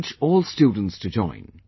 Encourage all students to join